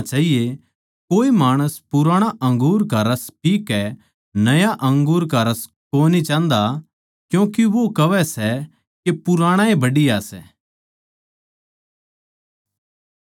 कोए माणस पुराणा अंगूर का रस पीकै नया अंगूर का रस कोनी चाह्न्दा क्यूँके वो कहवै सै के पुराणाए बढ़िया सै